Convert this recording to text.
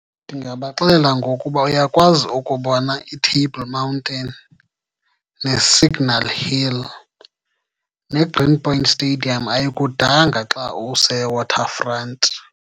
Ndingabaxelela ngokuba uyakwazi ukubona iTable Mountain, neSignal Hill, neGreen Point Stadium ayikudanga xa useWaterfront.